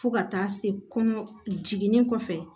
Fo ka taa se kɔnɔ jiginni kɔfɛ